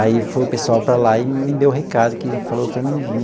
Aí foi o pessoal para lá e me deu o recado, que falou para mim vim.